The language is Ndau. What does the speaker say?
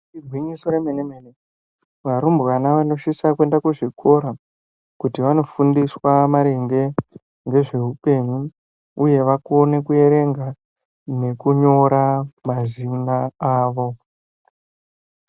Igwinyiso remenemene varumbwana vanosise kuende kuzvikora kuti vanofundiswa maringe ngezveupenyu uye vakone kuerenga nekunyora mazina avo.